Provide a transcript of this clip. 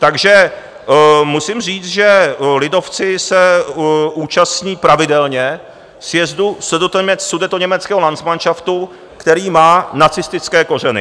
Takže musím říct, že lidovci se účastní pravidelně sjezdu Sudetoněmeckého landsmanšaftu, který má nacistické kořeny.